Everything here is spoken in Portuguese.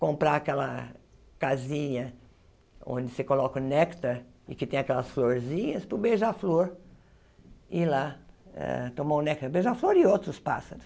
comprar aquela casinha onde se coloca o néctar e que tem aquelas florzinhas para o beija-flor ir lá eh tomar o néctar o beija-flor e outros pássaros.